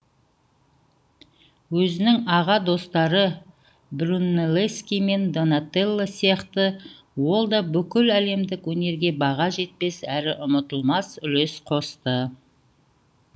өзінің аға достары брунеллески мен донателло сияқты ол да бүкіл әлемдік өнерге баға жетпес әрі ұмытылмас үлес қосты